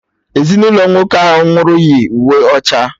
Ezinụlọ nwoke ahụ nwụrụ yi uwe ọcha